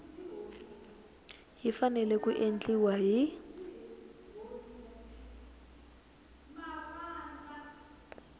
yi fanele ku endliwa hi